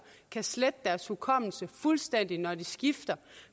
kan slette deres hukommelse fuldstændig når de skifter